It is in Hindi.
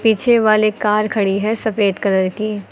पीछे वाले कार खड़ी है सफेद कलर की।